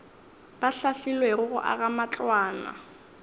ba hlahlilwego go aga matlwana